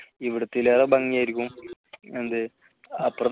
ഇവിടത്തെതിലും ഭംഗിയായിരിക്കും എന്ത് അപ്പുറത്തെ